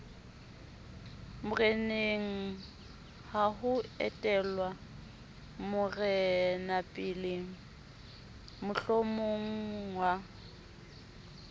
morenengha ho etellwa morenapele mohlomongha